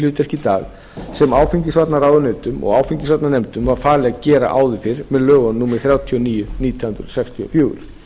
hlutverki í dag sem áfengisvarnaráðunautum og áfengisvarnanefndum var falið að gera áður fyrr með lögum númer þrjátíu og níu nítján hundruð sextíu og fjögur